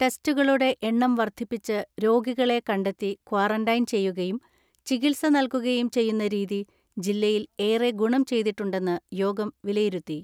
ടെസ്റ്റുകളുടെ എണ്ണം വർദ്ധിപ്പിച്ച് രോഗികളെ കണ്ടെത്തി ക്വാറന്റൈൻ ചെയ്യുകയും ചികിത്സ നൽകുകയും ചെയ്യുന്ന രീതി ജില്ലയിൽ ഏറെ ഗുണം ചെയ്തിട്ടുണ്ടെന്ന് യോഗം വിലയിരുത്തി.